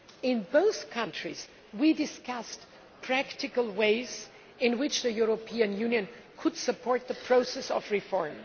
In both countries, we discussed practical ways in which the European Union could support the process of reform.